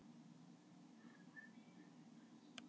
Aðeins yngra er dæmið um nafnið tómt fyrir utan rentu.